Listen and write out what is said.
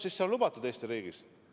See on Eesti riigis lubatud.